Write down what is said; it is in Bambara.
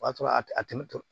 O y'a sɔrɔ a tɛ tɛmɛ